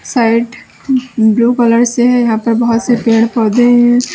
Side ब blue colour से है यहां पर बोहोत से पेड़-पौधे हैं।